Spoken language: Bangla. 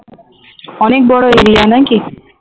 অনেক বড় area নাকি